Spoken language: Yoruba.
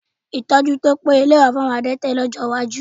Ìtọ́jú tí ó péye lè wà fún àwọn adẹ́tẹ̀ ní ọjọ́ iwájú